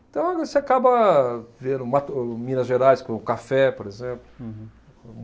Então, você acaba ver o mato, Minas Gerais com o café, por exemplo. Uhum.